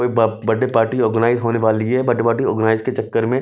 वो ब बडे पार्टी ऑर्गनाइज होने वाली है बड़े पार्टी ऑर्गनाइज के चक्कर में--